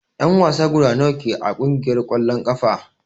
En wasa guda nawa ke a kungiyar kwalln kafa?